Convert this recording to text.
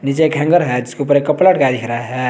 नीचे एक हैंगर है जिसके ऊपर एक कपड़ा अटका दिख रहा है।